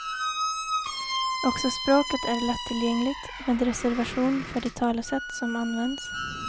Också språket är lättillgängligt, med reservation för de talesätt som används.